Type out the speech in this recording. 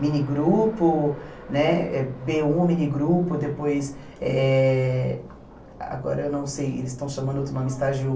Minigrupo, né bê um minigrupo, depois, eh agora eu não sei, eles estão chamando outro nome, estágio um.